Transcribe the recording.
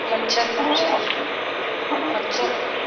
मच्छर मच्छर मच्छर